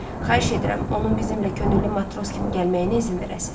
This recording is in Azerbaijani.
Xahiş edirəm, onun bizimlə könüllü matros kimi gəlməyinə izin verəsiniz.